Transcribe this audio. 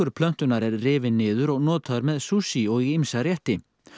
plöntunnar er rifinn niður og notaður með sushi og í ýmsa rétti